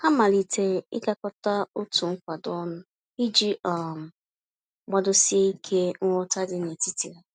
Ha malitere ịgakọta otu nkwado ọnụ, iji um gbadosi ike nghọta dị n'etiti ha.